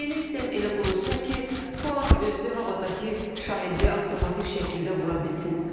Yeni sistem elə qurulsun ki, PUA özü havadakı şahidi avtomatik şəkildə vura bilsin.